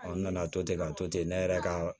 n nana to ten ka to ten ne yɛrɛ ka